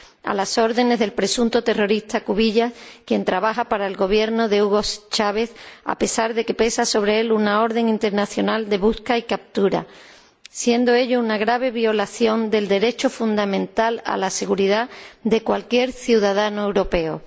a las órdenes del presunto terrorista Cubillas, quien trabaja para el gobierno de Hugo Chávez, a pesar de que pesa sobre él una orden internacional de busca y captura, siendo ello una grave violación del derecho fundamental a la seguridad de cualquier ciudadano europeo.